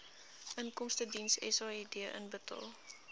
inkomstediens said inbetaal